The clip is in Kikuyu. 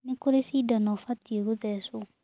Nĩ kurĩ cindano ũbatiĩ kũthecwo.